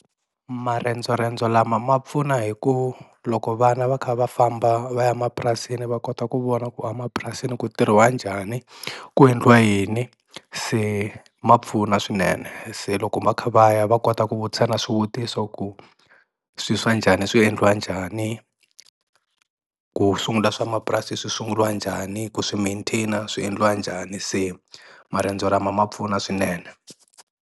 Marendzorendzo lama ma pfuna hi ku loko vana va kha va famba va ya mapurasini va kota ku vona ku a mapurasini ku tirhiwa njhani ku endliwa yini se ma pfuna swinene se loko va kha va ya va kota ku vutisa na swivutiso ku swi swa njhani swi endliwa njhani ku sungula swa mapurasi swi sungurilwa njhani ku swi maintain-a swi endliwa njhani se marendzo lama ma pfuna swinene.